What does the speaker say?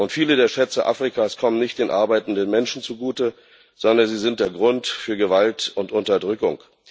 Viele der Schätze Afrikas kommen nicht den arbeitenden Menschen zugute, sondern sind der Grund für Gewalt und Unterdrückung.